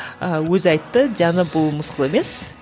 ыыы өзі айтты диана бұл мысқыл емес